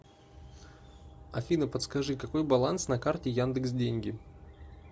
афина подскажи какой баланс на карте яндекс деньги